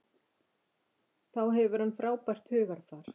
Þá hefur hann frábært hugarfar.